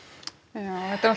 ja þetta eru